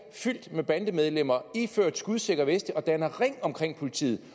fyldt med bandemedlemmer iført skudsikre veste danner ring omkring politiet